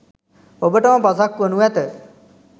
ඔබට ම පසක් වනු ඇත.